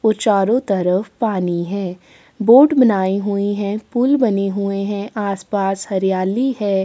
और चारो तरफ पानी है बोट बनाए हुई है पुल बने हुए है आस-पास हरियाली है ।